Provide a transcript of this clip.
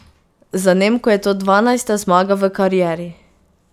Za Nemko je to dvanajsta zmaga v karieri.